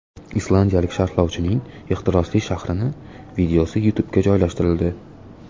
Islandiyalik sharhlovchining ehtirosli sharhining videosi YouTube’ga joylashtirildi .